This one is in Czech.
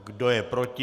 Kdo je proti?